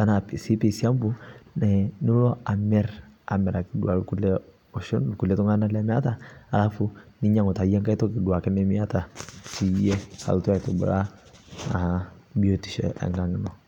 anaa sii piisiampuu nilo amir amirakii duake nkulie oshon lkulie tunganaa lemeataa alafuu ninyenguu taaduake yie nghai toki nimiataa peyie ilotuu aitubulaa biotishoo ee nkang inoo.